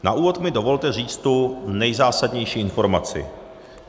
Na úvod mi dovolte říci tu nejzásadnější informaci.